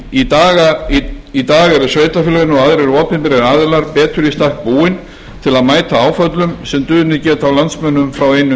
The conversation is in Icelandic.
í dag eru sveitarfélögin og aðrir opinberir aðilar betur í stakk búin til að mæta áföllum sem dunið geta á landsmönnum frá einum